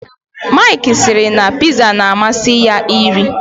Mike siri na pizza na amasi ya iri